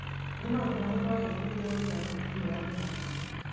Nĩ maũndũ marĩko wahĩtũkiire ũgĩthaka mũbira wa gĩkabũ?